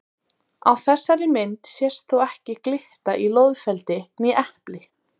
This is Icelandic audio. Á þessari mynd sést þó ekki glitta í loðfeldi né epli.